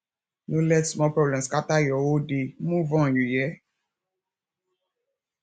no let small problem scatter your whole day move on you hear